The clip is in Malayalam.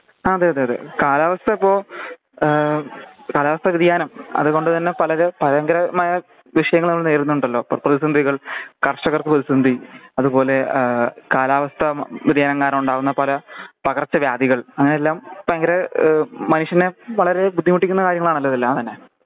അതെ അതെ അതെ ഈ കാലാവസ്ഥക്കെ ഏഹ് കാലാവസ്ഥ വേദിയാനം അത്കൊണ്ട് തന്നെ പലര് ഭയങ്കരമായ വിഷയങ്ങൾ അവര് നേരുന്നുണ്ടലോ പ്രേതവ സന്ധികൾ കർഷക പ്രേതിസന്ധി അതുപോലെ ഏഹ് കാലാവസ്ഥ വേദിയാനം കാരണമുണ്ടാവുന്ന പര പകർച്ചവ്യാധികൾ അങ്ങനെയെല്ലാം ഭയങ്കര ഏഹ് മനുഷ്യനെ വളരെ ബുദ്ധിമുട്ടിക്കുന്ന കാര്യങ്ങളാണാലോ എല്ലാതന്നെ